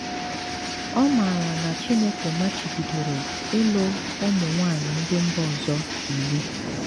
Ọ maara na Chineke machibidoro ịlụ ụmụ nwanyị ndị mba ọzọ iwu.